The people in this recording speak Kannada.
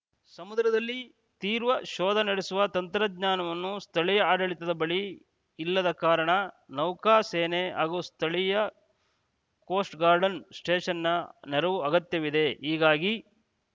ಸಮುದ್ರದಲ್ಲಿ ತೀರ್ವ ಶೋಧ ನಡೆಸುವ ತಂತ್ರಜ್ಞಾವನ್ನು ಸ್ಥಳೀಯ ಆಡಳಿತದ ಬಳಿ ಇಲ್ಲದ ಕಾರಣ ನೌಕಾ ಸೇನೆ ಹಾಗೂ ಸ್ಥಳೀಯ ಕೋಸ್ಟ್‌ ಗಾರ್ಡ್‌ನ್ ಸ್ಟೇಷನ್‌ನ ನೆರವು ಅಗತ್ಯವಿದೆ ಹೀಗಾಗಿ